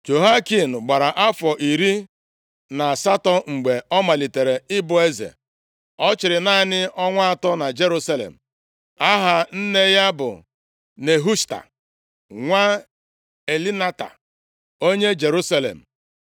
Jehoiakin gbara afọ iri na asatọ mgbe ọ malitere ịbụ eze. Ọ chịrị naanị ọnwa atọ na Jerusalem. Aha nne ya bụ Nehushta, nwa Elnatan, onye Jerusalem.